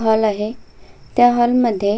hall आहे त्या hall मध्ये--